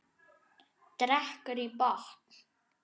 Drekkur í botn.